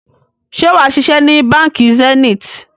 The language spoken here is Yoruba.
Ṣé wàá ṣiṣẹ́ ni Báńkì Zenith?